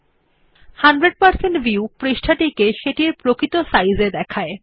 ১০০ শতাংশ ভিউ পৃষ্ঠাটিকে সেটির প্রকৃত সাইজ এ দেখায়